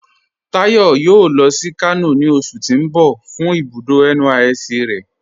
Táyọ̀ yóò lọ sí Kano ni oṣù̀ ti n bọ̀ fun ibùdó NYSC rẹ̀